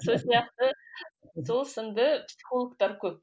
сол сияқты сол сынды психологтар көп